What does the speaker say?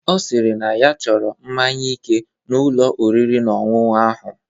Ọ sịrị na ya chọrọ mmaṅya ike n'Ụlọ oriri na ọṅụṅụ ahụ.